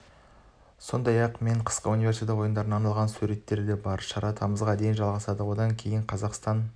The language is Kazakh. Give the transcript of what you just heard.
сондай-ақ мен қысқы универсиада ойындарына арналған суреттер де бар шара тамызға дейін жалғасады одан кейін қазақстан